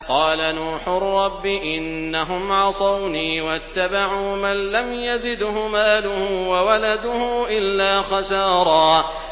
قَالَ نُوحٌ رَّبِّ إِنَّهُمْ عَصَوْنِي وَاتَّبَعُوا مَن لَّمْ يَزِدْهُ مَالُهُ وَوَلَدُهُ إِلَّا خَسَارًا